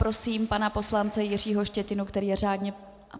Prosím pana poslance Jiřího Štětinu, který je řádně...